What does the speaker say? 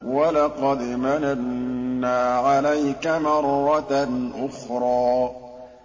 وَلَقَدْ مَنَنَّا عَلَيْكَ مَرَّةً أُخْرَىٰ